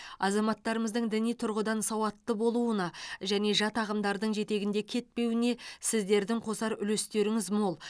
азаматтарымыздың діни тұрғыдан сауатты болуына және жат ағымдардың жетегінде кетпеуіне сіздердің қосар үлестеріңіз мол